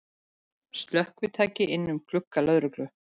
Slökkvitæki inn um glugga lögreglu